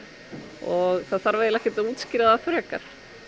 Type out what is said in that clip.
og það þarf ekkert að útskýra það frekar